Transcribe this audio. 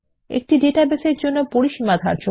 কিভাবে ডাটাবেসের জন্য রেঞ্জ নির্ধারণ